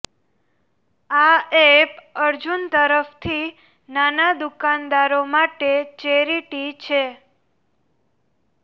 આ એપ અર્જુન તરફથી નાના દુકાનદારો માટે ચેરિટી છે